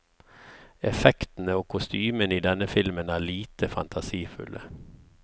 Effektene og kostymene i denne filmen er lite fantasifulle.